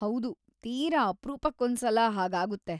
ಹೌದು, ತೀರ ಅಪ್ರೂಪಕ್ಕೊಂದ್ಸಲ ಹಾಗಾಗುತ್ತೆ.